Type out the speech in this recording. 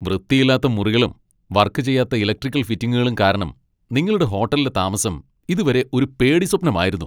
വൃത്തിയില്ലാത്ത മുറികളും, വർക്ക് ചെയ്യാത്ത ഇലക്ട്രിക്കൽ ഫിറ്റിംഗുകളും കാരണം നിങ്ങളുടെ ഹോട്ടലിലെ താമസം ഇതുവരെ ഒരു പേടി സ്വപ്നമായിരുന്നു.